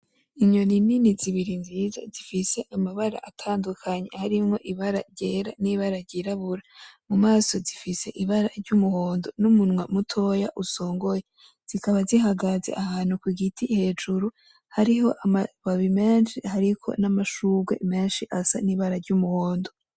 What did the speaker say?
Inyoni nini zibiri nziza zifise amabara atandukanye harimwo ibara ryera nibara ryirabura mumaso zifise ibara ryumuhondo n'umunwa mutoya usongoye; zikaba zihagaze ahantu kugiti hejuru ,hariho amababi menshi n'amashurwe menshi asa n'ibara ry'umuhondo.